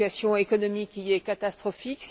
La situation économique y est catastrophique.